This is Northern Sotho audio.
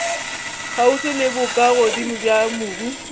kgauswi le bokagodimo bja mobu